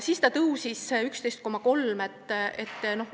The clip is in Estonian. Siis tõusis see 11,3%-le.